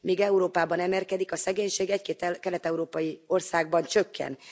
Míg Európában emelkedik a szegénység, egy két kelet európai országban csökken.